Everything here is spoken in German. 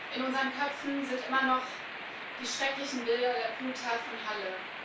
In unseren Köpfen sind immer noch die schrecklichen Bilder der Bluttat von Halle.